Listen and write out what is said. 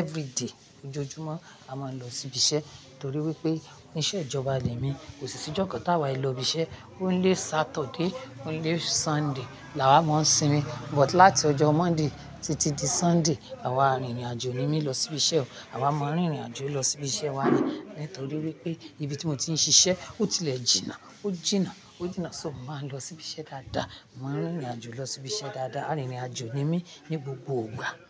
Everyday ojoojúmọ́ a máa ń lọ síbi iṣẹ́, torí wípé, oní iṣẹ́ ìjọba lẹ́mi, kò sí sí ìjọ kan ta wa i lọ ibi iṣẹ́. Only Saturday, only Sunday la wá máa ń sinmi, but láti ọjọ́ Monday títí di Sunday, àwa a rin ìrìn àjò ními lọ síbi iṣẹ́, àwa má ń rin ìrìn àjò lọ síbi iṣẹ́ wa ni, nítorí wípé ibi tí mo ti ń ṣiṣẹ́, ó tilẹ̀ jìnà, ó jìnà, ó jìnà, so mo má ń lọ síbi iṣẹ́ dáadáa, mo má ń rin ìrìn àjò lọ síbi iṣẹ́ dáadáa, a rin ìrìn àjò ními ní gbogbo gbà.